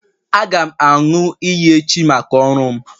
Aga m aṅụ iyi echi maka ọrụ m